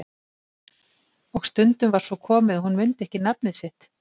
Og stundum var svo komið að hún mundi ekki nafnið sitt.